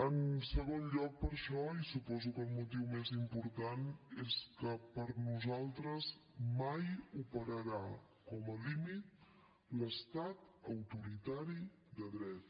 en segon lloc per això i suposo que el motiu més important és que per nosaltres mai operarà com a límit l’estat autoritari de dret